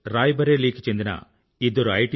రాయ్ బరేలీకి చెండిన ఇద్దరు ఐ